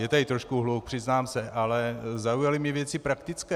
Je tady trošku hluk, přiznám se, ale zaujaly mě věci praktické.